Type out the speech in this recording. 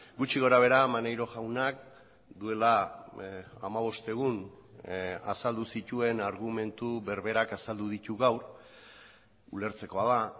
gutxi gorabehera maneiro jaunak duela hamabost egun azaldu zituen argumentu berberak azaldu ditu gaur ulertzekoa da